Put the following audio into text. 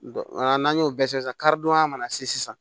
n'an y'o bɛɛ kɛ sisan karidonya mana se sisan